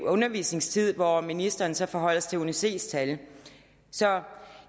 undervisningstiden hvor ministeren så forholder sig til uni cs tal så